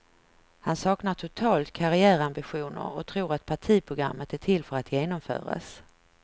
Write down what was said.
Han saknar totalt karriärambitioner och tror att partiprogrammet är till för att genomföras.